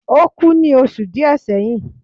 o ku ni osu diẹ seyin